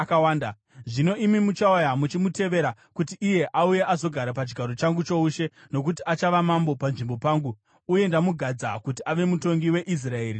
Zvino imi muchauya muchimutevera, kuti iye auye azogara pachigaro changu choushe, nokuti achava mambo panzvimbo pangu, uye ndamugadza kuti ave mutongi weIsraeri neJudha.”